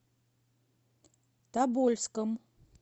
тобольском